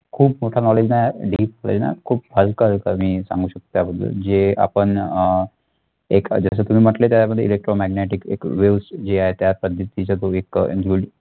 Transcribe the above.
खूप मोठ knowledge नाही आहे खूप हलक, हलक मी सांगू शकतो त्याबद्दल जे आपण अह एक जस तुम्ही म्हटले त्याच्यामध्ये electromagnetic एक waves जे आहे त्या पद्धतीचा तो एक